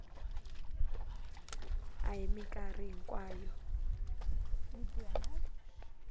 a hi mikarhi hinkwayo byi